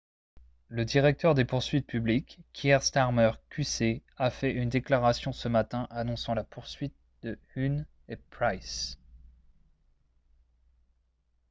le directeur des poursuites publiques kier starmer qc a fait une déclaration ce matin annonçant la poursuite de huhne et pryce